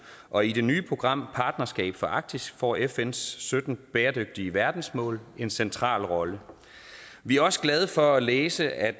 og i det nye program partnerskab for arktis får fns sytten bæredygtige verdensmål en central rolle vi er også glade for at læse at